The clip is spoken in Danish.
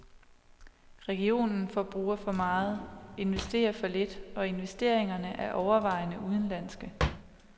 Regionen forbruger for meget, investerer for lidt, og investeringerne er overvejende udenlandske.